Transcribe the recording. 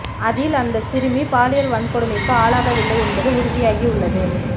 அதில் அந்த சிறுமி பாலியல் வன்கொடுமைக்கு ஆளாகவில்லை என்பது உறுதியாகி உள்ளது